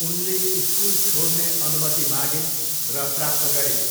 उनले स्कुल छोड्ने अनुमति मागिन् र प्राप्त गरिन्।